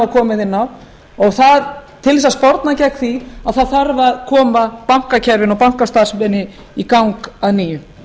komið inn á og til að sporna gegn því þarf að koma bankakerfinu og bankastarfseminni í gang að nýju